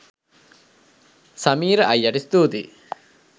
සමීර අයියට ස්තූතියි